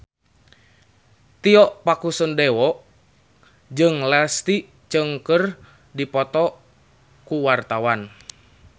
Tio Pakusadewo jeung Leslie Cheung keur dipoto ku wartawan